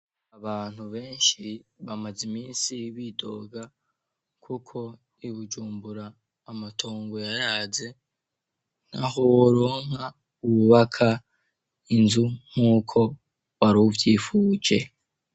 Abantu benshi bamaze iminsi bidoga kuko i bujumbura amatongo yaraze ntaho woronka wubaka inzu nk'uko waruvyipfuje.